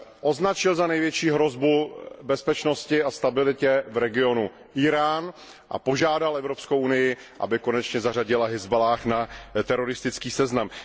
Označil za největší hrozbu pro bezpečnost a stabilitu v regionu Írán a požádal Evropskou unii, aby konečně zařadila Hizbaláh na seznam teroristických organizací.